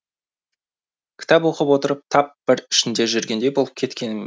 кітап оқып отырып тап бір ішінде жүргендей болып кететінім